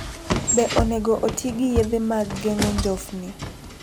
Be onego oti gi yedhe mag geng'o njofni?